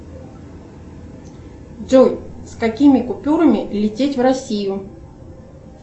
джой с какими купюрами лететь в россию